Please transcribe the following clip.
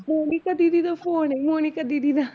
ਮੋਨਿਕਾ ਦੀਦੀ ਦਾ phone ਹੈ ਮੋਨਿਕਾ ਦੀਦੀ ਦਾ।